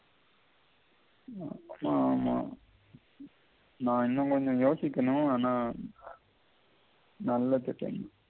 ஆமாமா நான் இன்னம் கொஞ்சம் யோசிக்கணும் ஆனா நல்ல திட்டம்